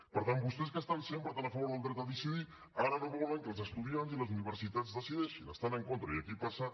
per tant vostès que estan sempre tan a favor del dret a decidir ara no volen que els estudiants i les universitats decideixin hi estan en contra i aquí passa